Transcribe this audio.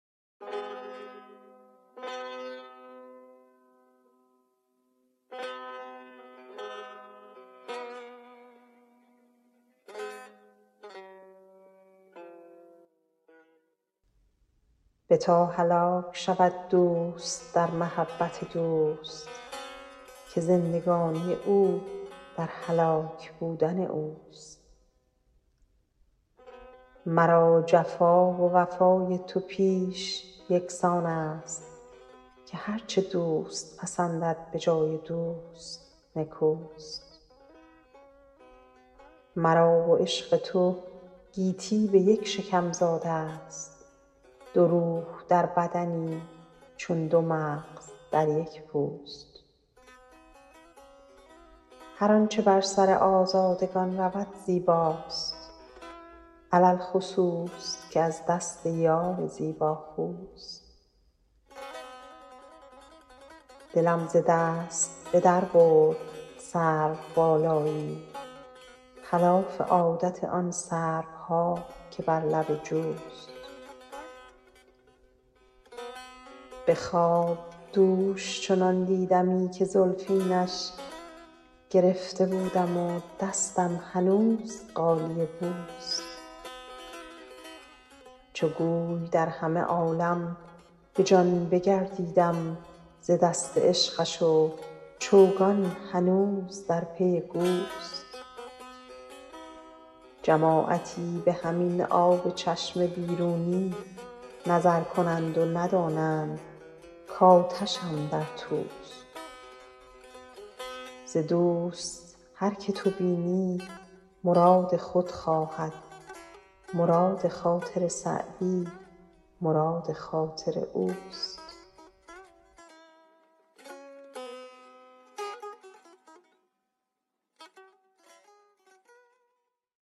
بتا هلاک شود دوست در محبت دوست که زندگانی او در هلاک بودن اوست مرا جفا و وفای تو پیش یکسان است که هر چه دوست پسندد به جای دوست نکوست مرا و عشق تو گیتی به یک شکم زاده ست دو روح در بدنی چون دو مغز در یک پوست هر آنچه بر سر آزادگان رود زیباست علی الخصوص که از دست یار زیباخوست دلم ز دست به در برد سروبالایی خلاف عادت آن سروها که بر لب جوست به خواب دوش چنان دیدمی که زلفینش گرفته بودم و دستم هنوز غالیه بوست چو گوی در همه عالم به جان بگردیدم ز دست عشقش و چوگان هنوز در پی گوست جماعتی به همین آب چشم بیرونی نظر کنند و ندانند کآتشم در توست ز دوست هر که تو بینی مراد خود خواهد مراد خاطر سعدی مراد خاطر اوست